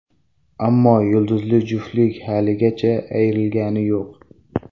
Ammo yulduzli juftlik haligacha ayrilgani yo‘q.